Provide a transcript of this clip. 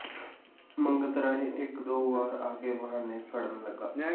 ਮੰਗਤ ਰਾਏ ਇੱਕ ਦੋ ਵਾਰ ਆ ਕੇ ਬਹਾਨੇ ਘੜਨ ਲੱਗਾ